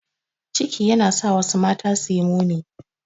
Ciki yana sa wasu mata suyi muni.